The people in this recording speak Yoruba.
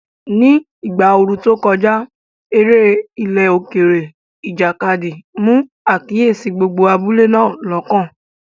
Ní ìgbà ooru tó kọjá, eré ilẹ̀ òkèèrè, ìjàkadì, mú àkíyèsí gbogbo abúlé náà lọ́kàn.